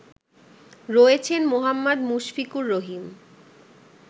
রয়েছেন মোহাম্মদ মুশফিকুর রহিম